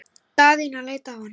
Daðína leit á hann.